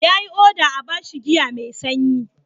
Ya yi oda a ba shi giya mai sanyi.